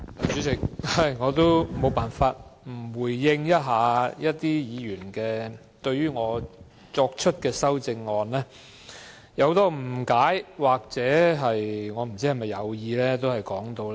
主席，我不得不回應某些議員對我提出的修正案的很多誤解或有意曲解。